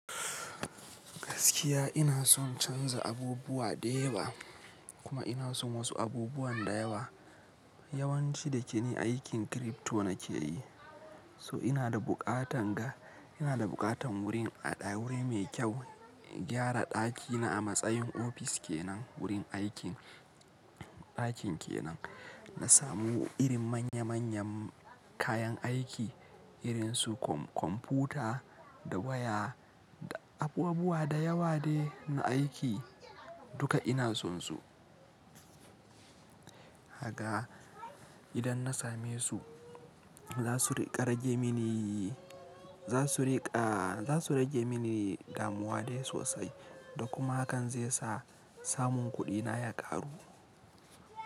Gaskiya ina son canza abubuwa da yawa kuma ina son wasu abubuwan da yawa. Yawanci da ke ni aikin crypto nake yi, so ina da buƙatan ga, ina da buƙatan wurin a ɗa wuri mai kyau, in gyara ɗakina a matsayin ofis ke nan wurin aikin, ɗakin ke nan. Na samu irin manya manyan kayan aiki irin su kum kumfuta da waya da abubuwa da yawa de na aiki duka ina son su. Haga idan na same su za su riƙa rage mini, za su riƙa, za su rage mini damuwa dai sosai da kuma hakan zai sa samun kuɗina ya ƙaru.